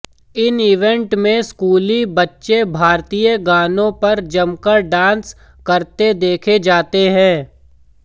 इन event में स्कूली बच्चे भारतीय गानों पर जमकर डांस करते देखे जाते हैं